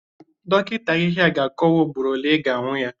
Dọkịta ahịhịa ga-akọwa ugboro ole ị ga-aṅụ ya